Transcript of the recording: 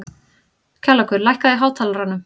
Kjallakur, lækkaðu í hátalaranum.